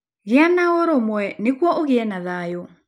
Gĩa na ũrũmwe nĩguo ũgĩe na thayũ